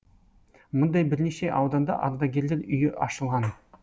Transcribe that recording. мұндай бірнеше ауданда ардагерлер үйі ашылған